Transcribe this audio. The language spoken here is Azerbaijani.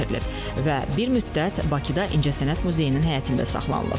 Və bir müddət Bakıda İncəsənət Muzeyinin həyətində saxlanılıb.